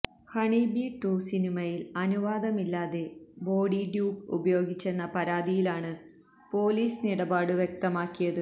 honeybee two സിനിമയില് അനുവാദമില്ലാതെ body dupe ഉപയോഗിച്ചെന്ന പരാതിയിലാണ് പോലീസ് നിലപാട് വ്യക്തമാക്കിയത്